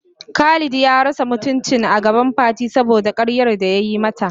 Khalid ya rasa mutuncin agaban Fati saboda karyar da yayi mata.